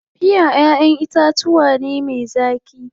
Piya ƴaʼƴen itatuwa ne me zaƙi.